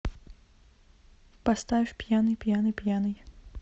поставь пьяный пьяный пьяный